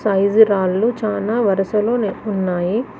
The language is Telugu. సైజు రాళ్లు చాలా వరసలో ఉన్నాయి.